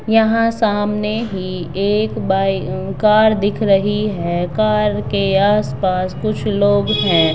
यहाँ सामने ही एक बाइ कार दिख रही है| कार के आस-पास कुछ लोग हैं|